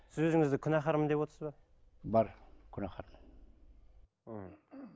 сіз өзіңізді күнәһармын деп отырсыз ба бар күнәһармын мхм